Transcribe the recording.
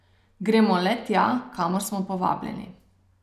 Gremo le tja, kamor smo povabljeni.